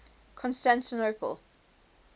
constantinople